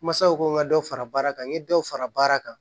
Masaw ko n ka dɔ fara baara kan n ye dɔw fara baara kan